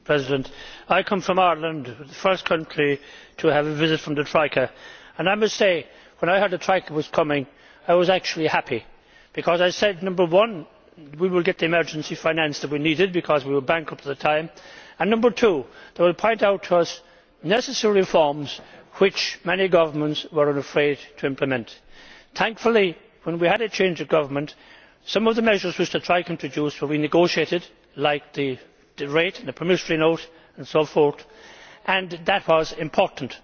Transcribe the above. Mr President, I come from Ireland, the first country to have a visit from the Troika, and I must say that when I heard that the Troika was coming I was actually happy because I said number one, we will get the emergency finance that we need because we were bankrupt at the time and number two, they will point out to us necessary reforms which many governments were afraid to implement. Thankfully, when we had a change of government, some of the measures which the Troika introduced were renegotiated, like the rate and the promissory note and so forth, and that was important.